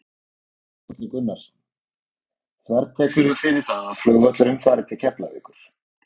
Þórhallur Gunnarsson: Þvertekurðu fyrir það að flugvöllurinn fari til Keflavíkur?